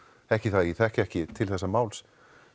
ekki það að ég þekki ekki til þessa máls